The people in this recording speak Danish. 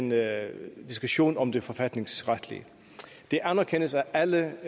med diskussionen om det forfatningsretlige det anerkendes af alle